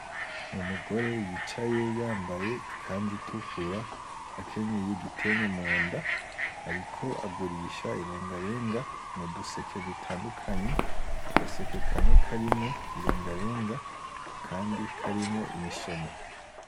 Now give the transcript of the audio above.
Umugore yicaye yambaye ikanzu itukura akenyeye igitenge munda ariko agurisha irengarenga muduseke dutandukanye, agaseke kamwe karimo irenga renga akandi karimo imisoma .